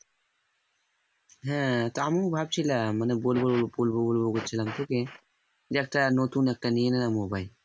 হ্যাঁ তা আমি ভাবছিলাম মানে বলব বলব বলব করছিলাম তোকে যে একটা নতুন একটা নিয়ে নে না mobile